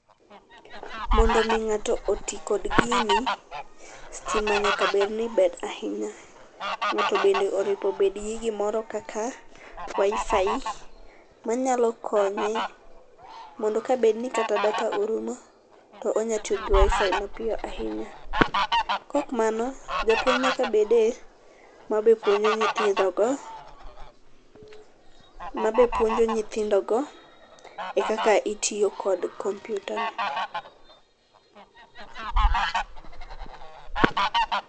Mondo mi ng'ato oti kod gini, stima nyaka bed niber ahinya. Ng'ato bende onepo bed gi wifi manyalo konye mondo ka bed ni kata data orumo, to onyalo tiyo gi wiFi mapiyo ahinya. Kaok mano, japuonj nyaka bede mapuonjo nyithindogo, ma be puonjo nyithindo go kaka itiyo kod kompiuta no.